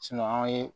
an ye